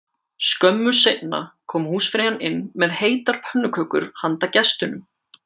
Skömmu seinna kom húsfreyjan inn með heitar pönnukökur handa gestunum